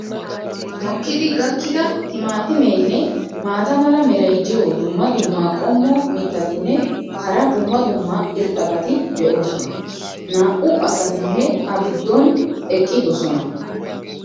mokkidi gakkida timaatimeenne maata mala meray diyo dumma dumma qommo mitattinne hara dumma dumma irxxabati de'oosona. Naa'u asatinne a giddon eqqidosona.